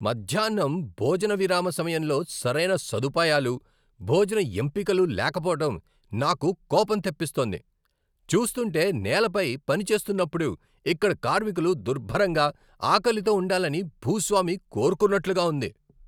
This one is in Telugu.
మధ్యాహ్నం భోజన విరామ సమయంలో సరైన సదుపాయాలు, భోజన ఎంపికలు లేకపోవడం నాకు కోపం తెప్పిస్తోంది. చూస్తుంటే నేలపై పని చేస్తున్నప్పుడు ఇక్కడ కార్మికులు దుర్భరంగా, ఆకలితో ఉండాలని భూస్వామి కోరుకున్నట్లుగా ఉంది.